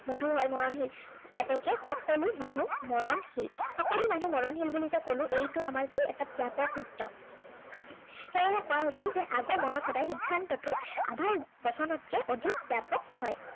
মধু হয় মৰণশীল। এতেকে সকলো মানুহ মৰণশীল। সকলো মানুহ মৰণশীল বুলি যে কলো, এইটো আমাৰ কি ব্য়াপক সূত্ৰ। সেয়েহে কোৱা হৈছে যে আগমনত সদায় সিদ্ধান্তটো আধাৰ বচনতকে অধিক ব্য়াপক হয়।